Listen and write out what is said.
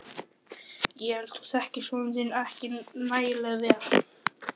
Ég held þú þekkir son þinn ekki nægilega vel.